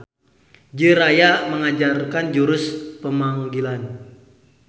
Jiraiya menganjarkan jurus pemanggilan.